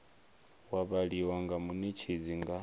wa vhaliwa nga munetshedzi nga